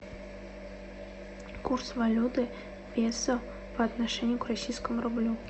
курс валюты песо по отношению к российскому рублю